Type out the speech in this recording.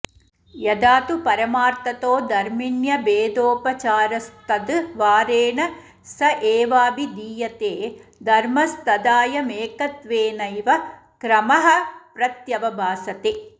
यदा तु परमार्थतो धर्मिण्यभेदोपचारस्तद्द्वारेण स एवाभिधीयते धर्मस्तदायमेकत्वेनैव क्रमः प्रत्यवभासते